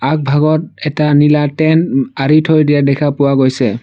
আগভাগত এটা নীলা টেণ্ট আঁৰি থৈ দিয়া দেখা পোৱা গৈছে।